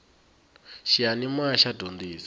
xiyanimoya xa dyondzisa